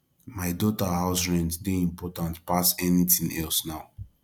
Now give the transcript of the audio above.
my daughter house rent dey important pass anything else now